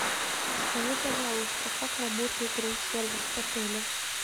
скажи пожалуйста как работает рум сервис в отеле